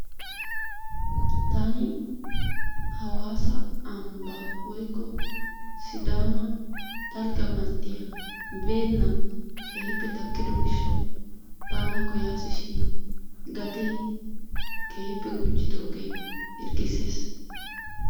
Taani hawaasa ambba woykko sidaama dalgga manttiya beennan keehippe takkido gishshawu baana koyasishin gatee keehippe gujjidooge hirggisses.